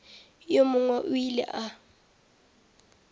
yo mongwe o ile a